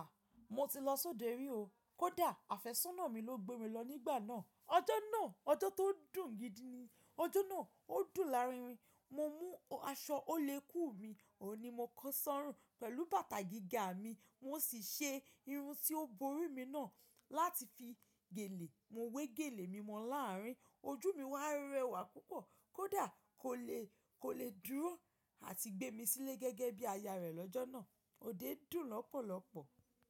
Mo ti lọ sọ́dẹ rí o. Kódà afésónà mi ló gbé mi lọ nígbà náà. Ọjọ́ náà, ọjọ́ tó dùn gidi ni. Ọjọ́ náà ó dùn láàrin. Mo mú aṣọ oléku mi, òun ni mo kó sọ́rùn pẹ̀lú bàtà gíga mi, mo sì ṣe irun tí ó borí mi náà láti fi gèlè. Mo wé gèlè mímọ láàrin, ojú mi wá ń rẹwà púpọ̀. Kódà kò lè, kò lè dúró àti gbé mi sílé gẹ́gẹ́ bí aya rẹ̀ lọ́jọ́ náà. Òde dùn lọ́pọ̀lọ́pọ̀.